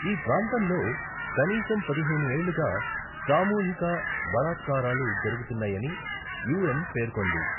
ఈ ప్రాంతంలో కనీసం పదిహేను ఏళ్లుగా సామూహిక బలాత్కారాలు జరుగుతున్నాయని యూఎన్ పేర్కొంది.